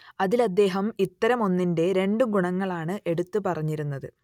അതിൽ അദ്ദേഹം ഇത്തരം ഒന്നിന്റെ രണ്ട് ഗുണങ്ങളാണ് എടുത്തു പറഞ്ഞിരുന്നത്